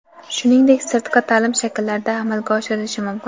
shuningdek sirtqi ta’lim shakllarida amalga oshirilishi mumkin.